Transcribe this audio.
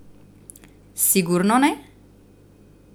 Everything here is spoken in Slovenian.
Sigurno ne?